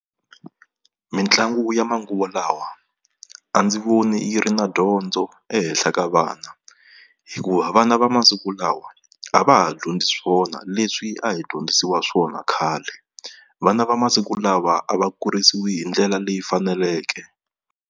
Mitlangu ya manguva lawa a ndzi voni yi ri na dyondzo ehenhla ka vana, hikuva vana va masiku lawa a va ha dyondzi swona leswi a hi dyondzisiwa swona khale. Vana va masiku lawa a va kurisiwi hi ndlela leyi faneleke.